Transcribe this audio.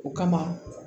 O kama